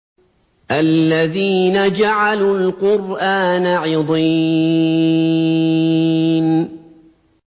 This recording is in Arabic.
الَّذِينَ جَعَلُوا الْقُرْآنَ عِضِينَ